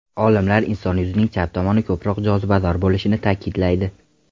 Olimlar inson yuzining chap tomoni ko‘proq jozibador bo‘lishini ta’kidlaydi.